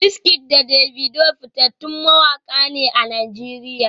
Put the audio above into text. WizKid da Davido fitattun mawaka ne a Najeriya